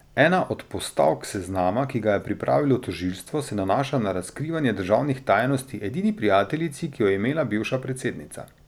Ena od postavk seznama, ki ga je pripravilo tožilstvo, se nanaša na razkrivanje državnih tajnosti edini prijateljici, ki jo je imela bivša predsednica.